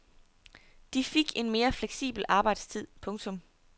De til fik en mere fleksibel arbejdstid. punktum